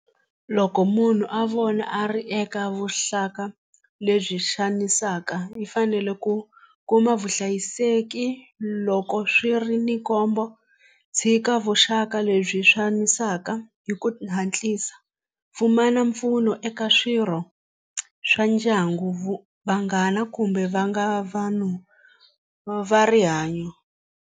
Loko munhu a vona a ri eka vuxaka lebyi xanisaka i fanele ku kuma vuhlayiseki loko swi ri ni khombo tshika vuxaka lebyi xanisaka hi ku hatlisa pfumala mpfuno eka swirho swa ndyangu vanghana kumbe va nga vanhu va rihanyo.